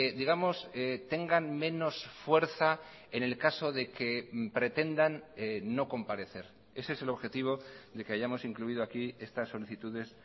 digamos tengan menos fuerza en el caso de que pretendan no comparecer ese es el objetivo de que hayamos incluido aquí estas solicitudes